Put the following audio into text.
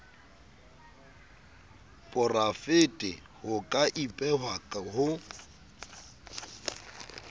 porafete ho ka ipehwa ho